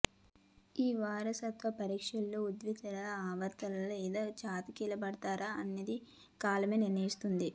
ఈ వారసత్వ పరీక్షలో ఉత్తీర్ణులు అవ్ఞతారా లేక చతికిలబడతారా అన్నది కాలమే నిర్ణయిస్తుంది